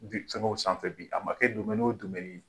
fɛnkɛw sanfɛ bi a ma kɛ o ye.